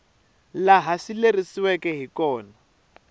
laha swi lerisiweke hi kona